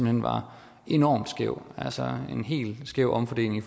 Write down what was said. hen var enormt skæv altså en helt skæv omfordeling i